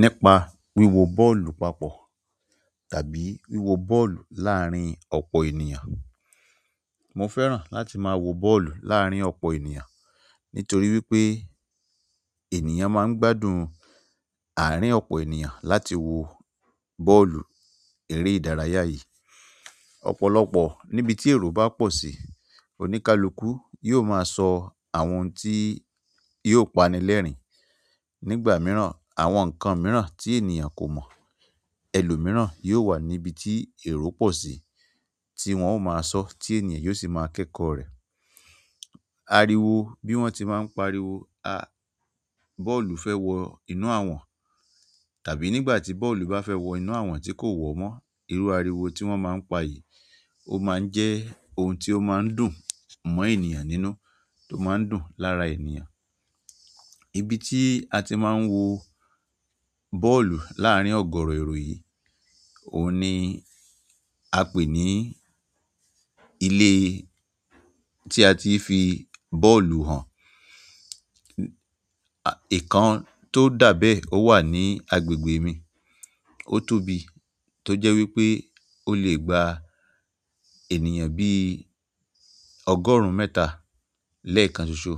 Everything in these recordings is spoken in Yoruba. Nípa wíwo bọ́ọ̀lù papọ̀ tàbí wíwo bọ́ọ̀lù láàárín ọ̀pọ̀ ènìyàn. Mo fẹ́ràn láti máa wo bọ́ọ̀lù láàárín ọ̀pọ̀ ènìyàn nítorí wípé ènìyàn máa ń gbádùn àárín ọ̀pọ̀ ènìyàn láti wo bọ́ọ̀lù eré ìdárayá yìí. Ọ̀pọ̀lọpọ̀ níbi tí èrò bá pọ̀ sí, oníkálukú yóò máa sọ àwọn ohun tí yóò pani lẹ́rìn-ín. Nígbà mìíràn, àwọn nǹkan mìíràn tí ènìyàn kò mọ̀, ẹlòmìíràn yóò wà níbi tí èrò pọ̀ sí tí wọ́n óò máa sọọ́ tí ènìyàn yóò sì máa kẹ́kọ̀ọ́ rẹ̀. Ariwo bí wọ́n tí máa ń pariwo, bọ́ọ̀lù fẹ́ wọ inú àwọ̀n tàbí nígbà tí bọ́ọ̀lù bá fẹ́ wọ inú àwọ̀n tí kò wọ̀ọ́ mọ́. Irú ariwo tí wọ́n máa ń pa yìí ó máa ń jẹ́ ohun tí ó máa ń dùn mọ́ ènìyàn nínú tó máa ń dùn lára ènìyàn. Ibi tí a ti máa ń wo bọ́ọ̀lù láàárín ọ̀gọ̀ọ̀rọ̀ èrò yìí, òun ni a pè ní ilé tí a ti í fi bọ́ọ̀lù hàn. Ìkan tó dà bẹ́ẹ̀ ó wà ní agbègbè mi. Ó tóbi tó jẹ́ wípé ó lè gba ènìyàn bí ọgọ́rùn-ún mẹ́ta lẹ́ẹ̀kan ṣoṣo.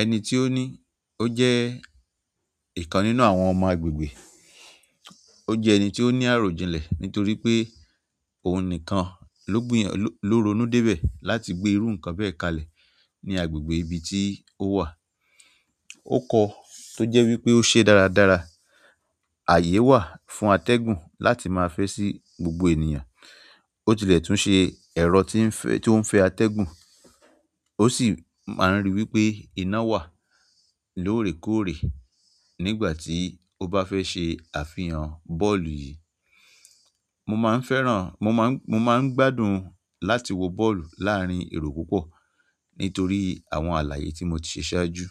Ẹni tí ó ní ó jẹ́ ìkan nínú àwọn ọmọ agbègbè, ó jẹ́ ẹni tí ó ní àròjinlẹ̀ nítorí pé òun nìkan ló gbìyàn, ló, ló ronú débẹ̀ láti gbé irú nǹkan bẹ́ẹ̀ kalẹ̀ ní agbègbè ibi tí ó wà. Ó kọ́ọ tó jẹ́ wípé ó ṣeé dáradára. Àyè wà fún atẹ́gùn láti máa fẹ́ sí gbogbo ènìyàn. Ó tilẹ̀ tún ṣe ẹ̀rọ tí ń fẹ́, tí ó ń fẹ́ atẹ́gùn. Ó sì máa ń ríi wípé iná wà lóòrèkóòrè nígbà tí ó bá fẹ́ ṣe àfihàn bọ́ọ̀lù yìí. Mo máa ń fẹ́ràn, mo máa ń, mo máa ń gbádùn láti wo bọ́ọ̀lù láàárín èrò púpọ̀ nítorí àwọn àlàyé tí mo ti ṣe ṣáájú.